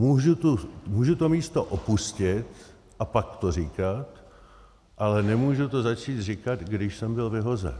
Můžu to místo opustit a pak to říkat, ale nemůžu to začít říkat, když jsem byl vyhozen.